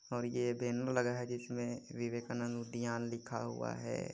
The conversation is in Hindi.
और ये बैनर लगा है जिसमें विवेकानंद उद्द्यान लिखा हुआ है।